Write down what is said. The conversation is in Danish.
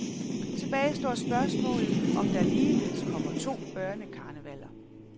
Tilbage står spørgsmålet, om der ligeledes kommer to børnekarnevaller.